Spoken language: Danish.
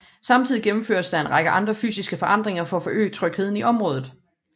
Samtidig gennemføres der en række andre fysiske forandringer for at forøge trygheden i området